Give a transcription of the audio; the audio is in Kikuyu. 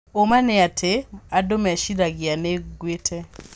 Ũũma nĩa atĩ andũ meciragia nĩnguĩte